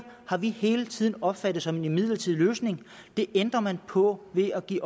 har vi hele tiden opfattet som en midlertidig løsning det ændrer man på ved at give